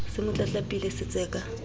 se mo tlatlapile se tseka